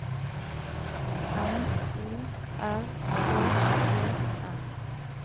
M O R K E N